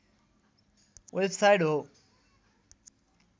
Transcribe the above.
website हो